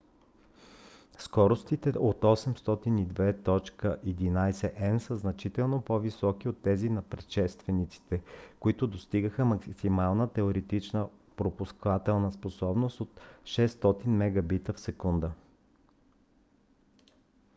скоростите от 802.11n са значително по-високи от тези на предшествениците които достигат максимална теоретична пропускателна способност от 600 mbit/s